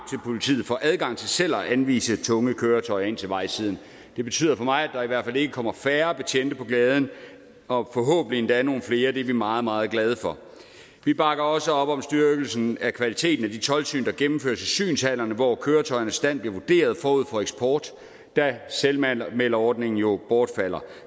politiet får adgang til selv at anvise tunge køretøjer ind til vejsiden det betyder for mig at der i hvert fald ikke kommer færre betjente på gaden og forhåbentlig endda nogle flere det er vi meget meget glade for vi bakker også op om styrkelsen af kvaliteten af de toldsyn der gennemføres i synshallerne hvor køretøjernes stand bliver vurderet forud for eksport da selvanmelderordningen jo bortfalder